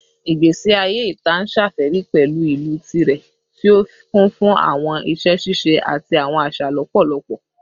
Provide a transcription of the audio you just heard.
Igbesi aye ita n ṣafẹri pẹlu ilu tirẹ, ti o kun fun awọn iṣẹ ṣiṣe ati awọn aṣa lọpọlọpọ